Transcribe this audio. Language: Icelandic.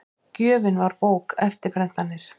Gjöfin var bók, eftirprentanir